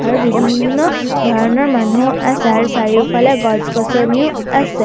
আৰু বিভিন্ন ধৰণৰ মানুহো আছে আৰু চাৰিওফালে গছ-গছনিও আছে।